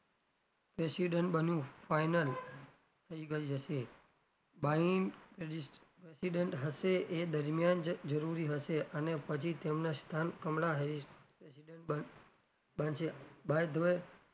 president બનવું final થઇ ગઈ હશે biden president હશે એ દરમિયાન જરૂરી હશે અને પછી તેમનાં સ્થાન કમલા હ president બ બનશે બાયેધ્વ,